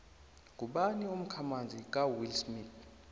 ngubani umkhamanzi kawillsmith